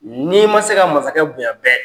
N'i ma se ka masakɛ bonya bɛɛ